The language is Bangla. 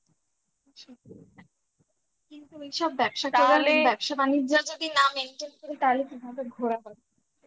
কিন্তু এইসব ব্যবসা করালে ব্যবসা বাণিজ্য যদি না maintain করি তাহলে কিভাবে ঘোরা হবে